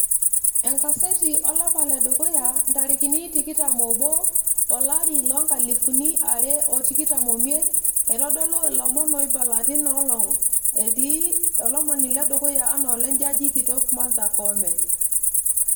enkaseti olapa ledukuya, nrarikini tikitam oobo, olari loo nkalifuni tikitam oimiet, eitodolu ilomon oibala teina olong' etii olomoni ledukuya anaa ole jaji kitok martha koome.